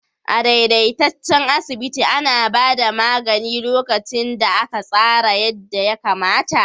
A daidaitaccen asibiti ana ba da magani lokacin da aka tsara yadda ya kamata.